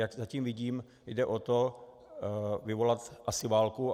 Jak zatím vidím, jde o to vyvolat asi válku.